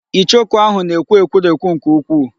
Ichoku ahụ na-ekwu ekwurekwu nke ukwuu.